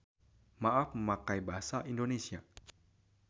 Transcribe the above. Maaf memakai bahasa Indonesia.